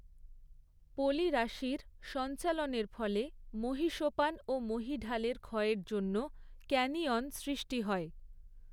পলিরাশির সঞ্চালনের ফলে মহীসোপান ও মহীঢালের ক্ষয়ের জন্য ক্যানিয়ন সৃষ্টি হয়।